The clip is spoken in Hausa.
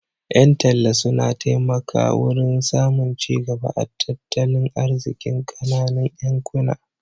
Ƴan talla suna taimaka wurin samun cigaba a tattalin arzikin ƙananun yankuna.